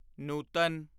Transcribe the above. Nutan